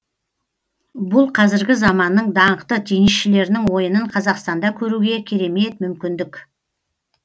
бұл қазіргі заманның даңқты теннисшілерінің ойынын қазақстанда көруге керемет мүмкіндік